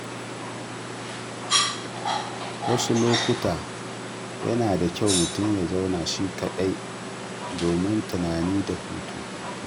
Wasu lokuta yana da kyau mutum ya zauna shi kaɗai domin tunani da hutu.